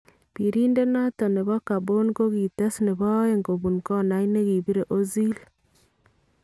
Biriindet noton nebon Gabon kokitees nebo aeng kobuun konait nekibiire Ozil .